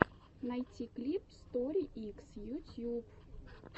найти клип стори икс ютьюб